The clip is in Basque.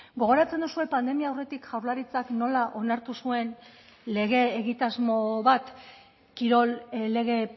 gogoratzen duzue pandemia aurretik jaurlaritzak nola onartu zuen lege egitasmo bat kirol lege